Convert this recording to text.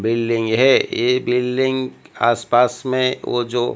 building है ये building आस पास में वो जो--